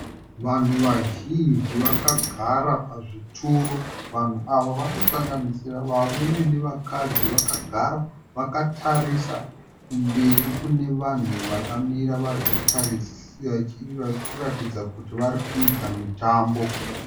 Vanhu vazhinji vakagara pazvituro. Vanhu ava vanosanganisira varume nevakadzi. Vakagara vakatarisa kumberi kune vanhu vakamira vari kuratidza kuti vari kuita mutambo.